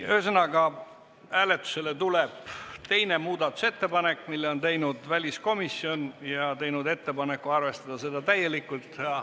Ühesõnaga, hääletusele tuleb teine muudatusettepanek, mille on teinud väliskomisjon, kes peab õigeks arvestada seda täielikult.